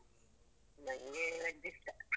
ನನ್ಗೆ veg ಇಷ್ಟ.